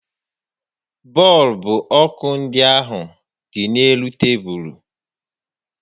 Bọọlbụ ọkụ ndị ahụ dị n'elu tebulu